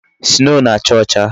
Sinoo na-acha ocha